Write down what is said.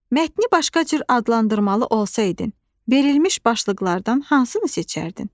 Mətni başqa cür adlandırmalı olsaydın, verilmiş başlıqlardan hansını seçərdin?